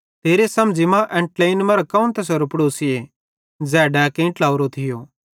तेरे समझ़ी मां एन ट्लेईन मरां कौन तैसेरो पड़ोसीए ज़ै डैकेइं ट्लातोरो थियो